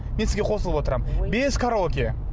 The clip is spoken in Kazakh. мен сізге қосылып отырамын без караоке